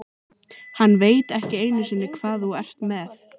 Hann veit ekki einu sinni hvað þú ert með.